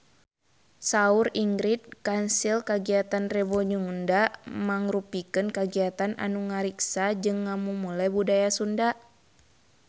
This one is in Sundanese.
Saur Ingrid Kansil kagiatan Rebo Nyunda mangrupikeun kagiatan anu ngariksa jeung ngamumule budaya Sunda